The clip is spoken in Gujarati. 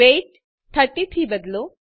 વેઇટ 30 થી બદલો